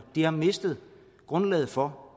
de har mistet grundlaget for